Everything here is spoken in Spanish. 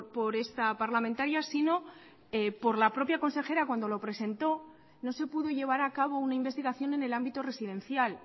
por esta parlamentaria sino por la propia consejera cuando lo presentó no se pudo llevar a cabo una investigación en el ámbito residencial